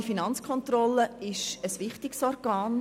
Die kantonale Finanzkontrolle ist ein wichtiges Organ.